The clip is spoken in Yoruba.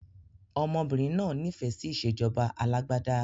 Ọmọbìnrin náà nifẹ si ìsèjọba alàgbàda